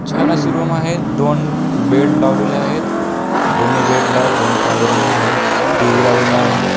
छान अशी रूम आहे दोन बेड लावलेले आहेत दोन्ही बेड ला दोन पांघरुणे आहेत टी.व्ही. लावलेला आहे.